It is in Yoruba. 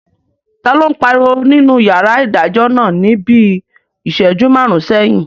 Taló n pariwo nínú yàrá ìdájọ́ náà ní bíi ìsẹ́jú máàrún sẹ́yìn?